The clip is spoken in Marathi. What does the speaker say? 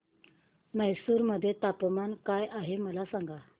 म्हैसूर मध्ये तापमान काय आहे मला सांगा